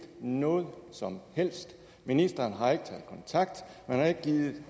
noget som helst ministeren har ikke taget kontakt man har ikke gidet